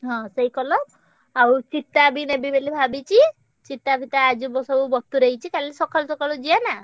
ହଁ ସେଇ colour ଆଉ ଚିତା ବି ନେବି ବୋଲି ଭାବିଛି ଚିତା ଫିତା ଆଜି ସବୁ ବତୁରେଇ ଦେଇଛି କାଲି ସକାଳୁ ସକାଳୁ ଯିବା ନା।